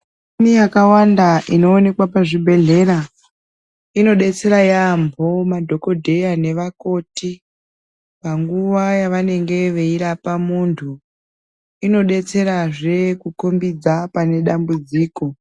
Michini yakawanda inoonekwa pazvibhehleya inodetsera yamho madhokodheya nevakoti panguva yavanenge veirapa muntu inodetserazve kukombidza pane dambudziko.